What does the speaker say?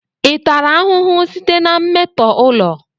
Ị tara ahụhụ site na mmetọ ụlọ?